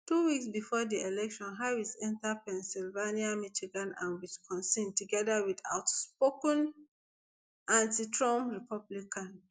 two weeks bifor di election harris don enta pensylvania michigan and wisconsin togeda wit outspoken antitrump republican